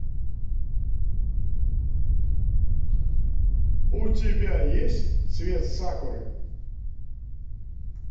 у тебя есть цвет сакуры